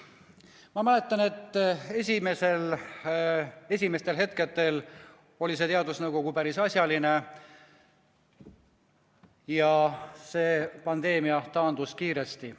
Ma mäletan, et esimestel hetkedel oli see teadusnõukoda päris asjalik ja pandeemia taandus kiiresti.